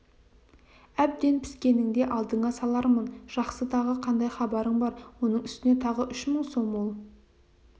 әбден піскенінде алдыңа салармын жақсы тағы қандай хабарың бар оның үстіне тағы үш мың сом ол